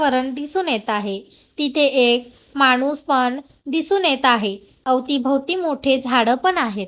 वातावरण दिसून येतं आहे. तिथे एक माणूस पण दिसून येतं आहे. अवतीभवती मोठे झाडं पण आहेत.